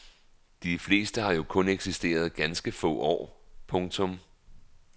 De fleste har jo kun eksisteret ganske få år. punktum